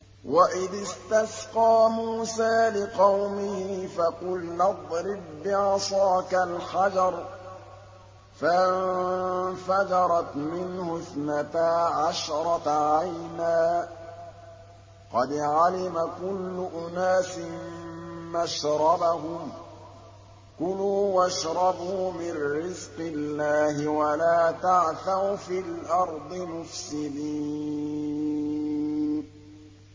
۞ وَإِذِ اسْتَسْقَىٰ مُوسَىٰ لِقَوْمِهِ فَقُلْنَا اضْرِب بِّعَصَاكَ الْحَجَرَ ۖ فَانفَجَرَتْ مِنْهُ اثْنَتَا عَشْرَةَ عَيْنًا ۖ قَدْ عَلِمَ كُلُّ أُنَاسٍ مَّشْرَبَهُمْ ۖ كُلُوا وَاشْرَبُوا مِن رِّزْقِ اللَّهِ وَلَا تَعْثَوْا فِي الْأَرْضِ مُفْسِدِينَ